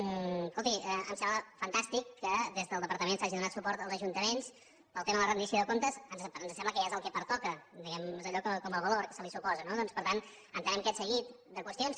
escolti em sembla fantàstic que des del departament s’hagi donat suport als ajuntaments pel tema de la rendició de comptes ens sembla que ja és el que pertoca diguem ne és com allò del valor que se li suposa no doncs per tant entenem aquest seguit de qüestions